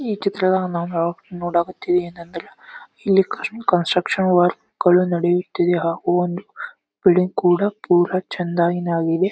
ಈ ಚಿತ್ರವನ್ನ ನಾವು ನೋಡಕತ್ತೀವಿ ಏನಂದ್ರ ಇಲ್ಲಿ ಕಾರ್ಮಿ ಕನ್ಸ್ಟ್ರಕ್ಷನ್ ವರ್ಕ್ ಗಳು ನಡೆಯುತ್ತಿದೆ ಹಾಗು ಒನ್ ಬಿಲ್ಡಿಂಗ್ ಕೂಡ ಪುರ ಚಂದ ಆಗಿ ನಾಗಿದೆ.